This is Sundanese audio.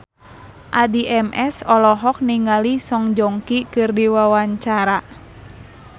Addie MS olohok ningali Song Joong Ki keur diwawancara